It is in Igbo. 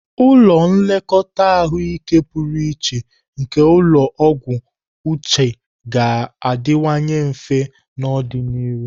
Ụlọ nlekọta ahụike pụrụ iche nke ulo ogwu uche ga-adịwanye mfe n'ọdịnihu.